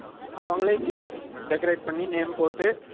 அவங்களே decorate பண்ணி, name போட்டு,